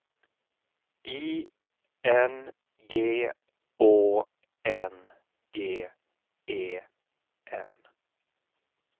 I N G Å N G E N